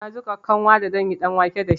Na jiƙa kanwa da zanyi ɗanwake dashi.